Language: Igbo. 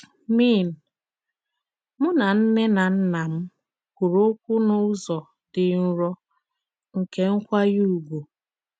Mìn: “Mụ nà nnè nà nnà m kwụrụ òkwù n'ụzọ dị nrò, nkè nkwànyè ùgwù.